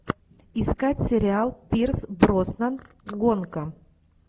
искать сериал пирс броснан гонка